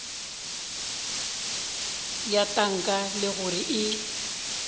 bja tanka le gore e